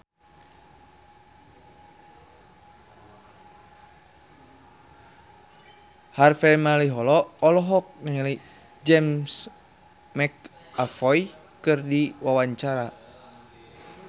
Harvey Malaiholo olohok ningali James McAvoy keur diwawancara